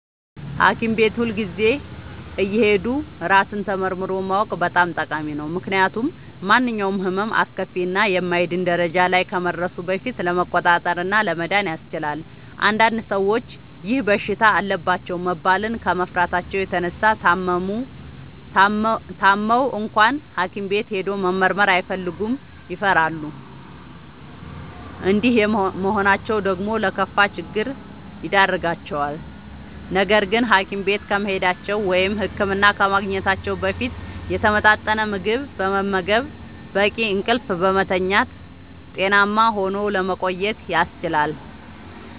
ሀኪም ቤት ሁልጊዜ እየሄዱ ራስን ተመርምሮ ማወቅ በጣም ጠቃሚ ነው። ምክንያቱም ማንኛውም ህመም አስከፊ እና የማይድን ደረጃ ላይ ከመድረሱ በፊት ለመቆጣጠር እና ለመዳን ያስችላል። አንዳንድ ሰዎች ይህ በሽታ አለባችሁ መባልን ከመፍራታቸው የተነሳ ታመው እንኳን ሀኪም ቤት ሄዶ መመርመር አይፈልጉም ይፈራሉ። እንዲህ መሆናቸው ደግሞ ለከፋ ችግር ይዳርጋቸዋል። ነገርግን ሀኪም ቤት ከመሄዳቸው(ህክምና ከማግኘታቸው) በፊት የተመጣጠነ ምግብ በመመገብ፣ በቂ እንቅልፍ በመተኛት ጤናማ ሆኖ ለመቆየት ያስችላል።